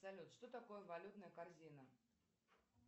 салют что такое валютная корзина